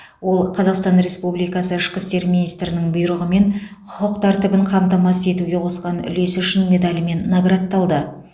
ол қазақстан республикасы ішкі істер министрінің бұйрығымен құқық тәртібін қамтамасыз етуге қосқан үлесі үшін медалімен наградталды